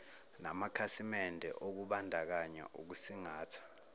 namakhasimende okubandakanya ukusingatha